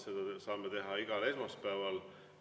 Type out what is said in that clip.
Seda saame teha igal esmaspäeval.